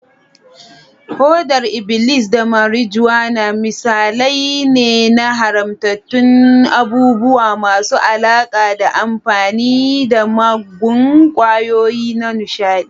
hodar iblis da marijuana misalai ne na haramtattun abubuwa masu alaƙa da amfani da muggan ƙwayoyi na nishaɗi.